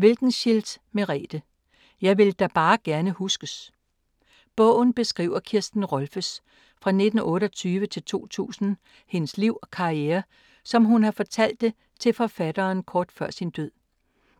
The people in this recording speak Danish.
Wilkenschildt, Merete: Jeg vil da bare gerne huskes Bogen beskriver Kirsten Rolffes (1928-2000) liv og karriere, som hun har fortalt det til forfatteren kort før sin død.